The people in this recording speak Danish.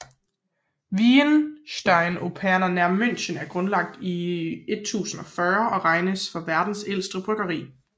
Weihenstephaner nær München er grundlagt i 1040 og regnes for verdens ældste bryggeri